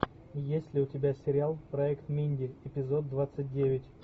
есть ли у тебя сериал проект минди эпизод двадцать девять